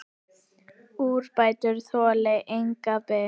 Úrbætur þoli enga bið.